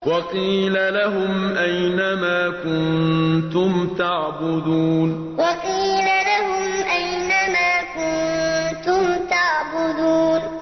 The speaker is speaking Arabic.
وَقِيلَ لَهُمْ أَيْنَ مَا كُنتُمْ تَعْبُدُونَ وَقِيلَ لَهُمْ أَيْنَ مَا كُنتُمْ تَعْبُدُونَ